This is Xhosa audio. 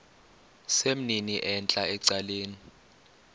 sesimnini entla ecaleni